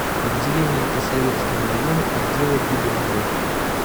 отделение по советскому району отдела гибдд